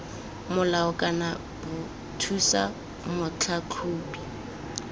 molao kana b thusa motlhatlhobi